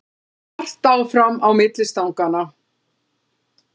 Hart áfram á milli stanganna